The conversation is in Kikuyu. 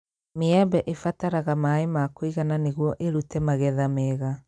Mĩembe ĩbataraga maĩ ma kũigana nĩguo ĩrũte magetha mega